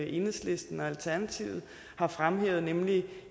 enhedslisten og alternativet har fremhævet nemlig